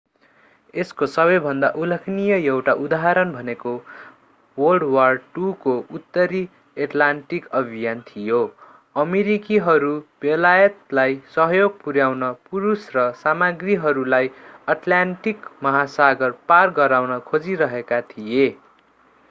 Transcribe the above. यसको सबैभन्दा उल्लेखनीय एउटा उदाहरण भनेको wwii को उत्तरी एटलान्टिक अभियान थियो।। अमेरिकीहरू बेलायतलाई सहयोग पुर्‍याउन पुरुष र सामाग्रीहरूलाई अटलान्टिक महासागर पार गराउन खोजिरहेका थिए।